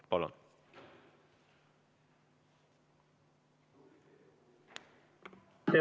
Palun!